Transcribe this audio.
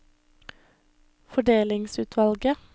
fordelingsutvalget